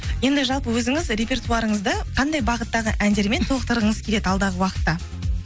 енді жалпы өзіңіз репертуарыңызды қандай бағыттағы әндермен толықтырғыңыз келеді алдағы уақытта